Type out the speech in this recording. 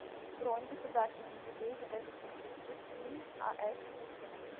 бронь государственный музей изобразительных искусств им ас пушкина